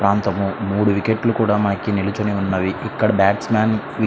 ఇక్కడ ముఉడు వికెట్స్ లు ఉన్నాయి బడ్స్ మాన్